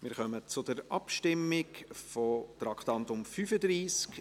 Wir kommen zur Abstimmung zu Traktandum 35.